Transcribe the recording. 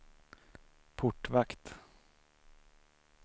portvakt